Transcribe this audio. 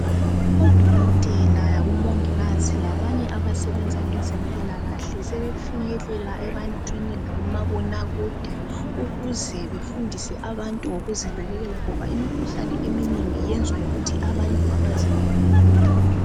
Odokotela labomongikazi labanye abasebenza ngezempilakahle sebefinyelela ebantwini lakumabona kude ukuze befundise abantu ngokuzinakekela ngoba imikhuhlane eminengi yenzwa yikuthi abantu abazinakekeli.